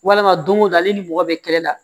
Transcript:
Walama don o don ale ni mɔgɔ bɛ kɛlɛ la